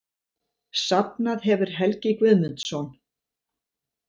Safnað hefur Helgi Guðmundsson.